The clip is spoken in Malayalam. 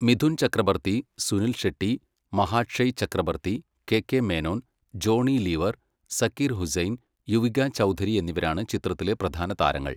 മിഥുൻ ചക്രബർത്തി, സുനിൽ ഷെട്ടി, മഹാക്ഷയ് ചക്രബർത്തി, കെ കെ മേനോൻ, ജോണി ലീവർ, സക്കീർ ഹുസൈൻ, യുവിക ചൗധരി എന്നിവരാണ് ചിത്രത്തിലെ പ്രധാന താരങ്ങൾ.